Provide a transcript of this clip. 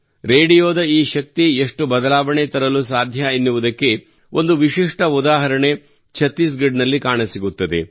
ರೇಡಿಯೋದ ಈ ಶಕ್ತಿ ಎಷ್ಟು ಬದಲಾವಣೆ ತರಲು ಸಾಧ್ಯ ಎನ್ನುವುದಕ್ಕೆ ಒಂದು ವಿಶಿಷ್ಠ ಉದಾಹರಣೆ ಛತ್ತೀಸ್ ಗಢ್ ನಲ್ಲಿ ಕಾಣಸಿಗುತ್ತಿದೆ